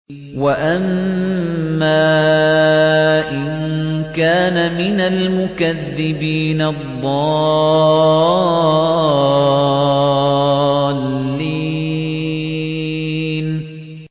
وَأَمَّا إِن كَانَ مِنَ الْمُكَذِّبِينَ الضَّالِّينَ